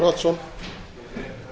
virðulegi forseti ég